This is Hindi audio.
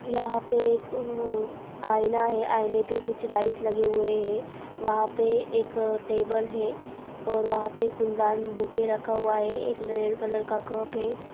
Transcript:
यहाँ पे एक अ आईना है आईने पर कुछ लाइट्स लगे हुए हैं वहाँ पे एक अ टेबल है और वहाँ पे फूलदान बुके रखा हुआ है एक रेड कलर का एक कप है।